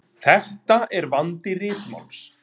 Þetta er vandi ritmáls.